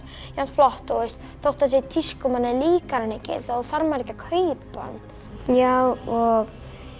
flott og þótt það sé í tísku og manni líkar hann ekki þá þarf maður ekki að kaupa hann já og